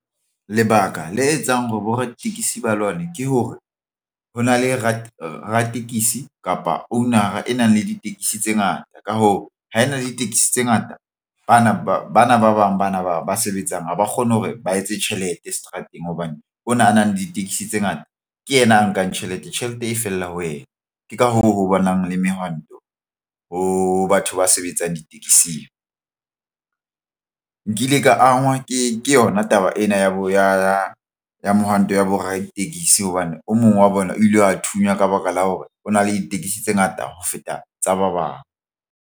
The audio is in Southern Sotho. Lebaka le etsang hore bo raditekesi ba lwane ke hore ho na le ratekesi kapa owner-a e nang le ditekesi tse ngata. Ka hoo, ha e na le ditekesi tse ngata. Bana ba bang bana ba sebetsang ha ba kgone hore ba etse tjhelete seterateng hobane ona a nang le ditekesi tse ngata ke yena a nkang tjhelete. Tjhelete e fela ho ena ke ka hoo ho bonang le mehwanto ho batho ba sebetsang ditekesing. Nkile ka angwa ke yona taba ena ya bona ya mohwanto wa bo raditekesi. Hobane o mong wa bona o ile a thunywa ka baka la hore o na le ditekesi tse ngata ho feta tsa ba bang.